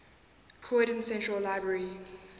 croydon central library